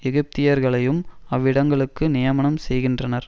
எகிப்தியர்களையும் அவ்விடங்களுக்கு நியமனம் செய்கின்றனர்